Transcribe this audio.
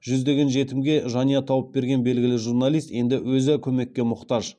жүздеген жетімге жанұя тауып берген белгілі журналист енді өзі көмекке мұқтаж